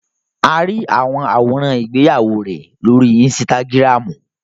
A ri awọn aworan igbeyawo rẹ lori ínsìtágirámu